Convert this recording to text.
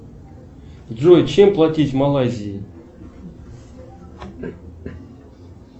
джой чем платить в малайзии